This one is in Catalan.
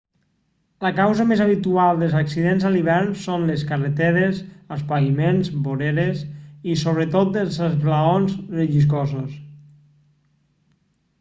la causa més habitual dels accidents a l'hivern són les carreteres els paviments voreres i sobretot els esglaons relliscosos